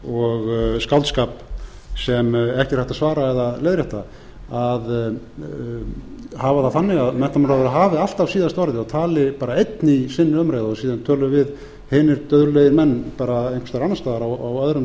og skáldskap sem ekki er hægt að svara eða leiðrétta hafa það þannig að menntamálaráðherra hafi alltaf síðasta orðið og tali bara einn í sinni umræðu og síðan tölum við hinir duglegir menn einhvers staðar annars staðar á öðrum